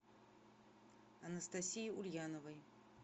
анастасии ульяновой